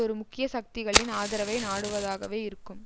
ஒரு முக்கிய சக்திகளின் ஆதரவை நாடுவதாகவே இருக்கும்